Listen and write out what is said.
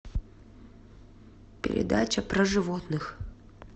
передача про животных